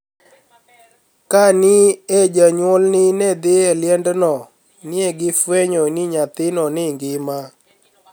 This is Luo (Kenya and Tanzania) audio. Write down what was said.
Kani e joniyuolni e dhi e lienidno, ni e gifweniyo nii niyathino nigima.